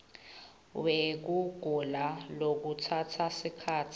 wekugula lokutsatsa sikhatsi